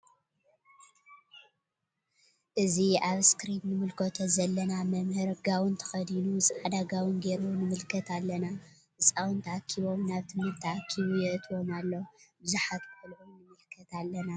እዚ አብ እስክርን እንምልከቶ ዘለና መምህር ጋውን ተከዲኑ ፃዕዳ ጋውን ገይሩ ንምልከት አለና::ህፃውንቲ አኪቦም ናብ ትምህርቲ አኪቡ የእትዎም አሎ::ቡዝሓት ቆልዑ ንምልከት አለና::